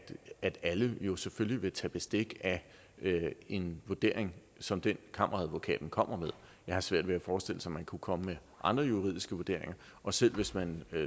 at alle jo selvfølgelig vil tage bestik af en vurdering som den kammeradvokaten kommer med jeg har svært ved at forestille mig at man kunne komme med andre juridiske vurderinger og selv hvis man